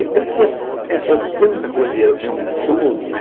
É é porque é é tanta coisa, e é um todo, né?